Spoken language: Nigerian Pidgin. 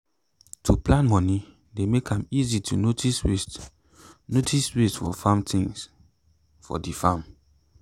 to plan moni dey make am easy to notice waste notice waste of farm things for the farm.